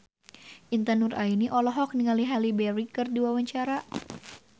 Intan Nuraini olohok ningali Halle Berry keur diwawancara